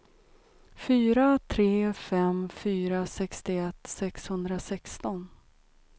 fyra tre fem fyra sextioett sexhundrasexton